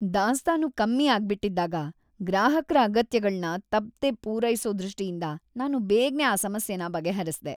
ದಾಸ್ತಾನು ಕಮ್ಮಿ ಆಗ್ಬಿಟಿದ್ದಾಗ ಗ್ರಾಹಕ್ರ ಅಗತ್ಯಗಳ್ನ ತಪ್ದೇ ಪೂರೈಸೋ ದೃಷ್ಟಿಯಿಂದ ನಾನು ಬೇಗ್ನೆ ಆ ಸಮಸ್ಯೆನ ಬಗೆಹರ್ಸ್ದೆ.